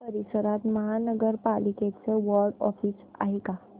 या परिसरात महानगर पालिकेचं वॉर्ड ऑफिस आहे का